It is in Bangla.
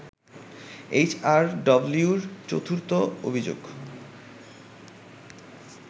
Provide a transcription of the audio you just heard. এইচআরডব্লিউর চতুর্থ অভিযোগ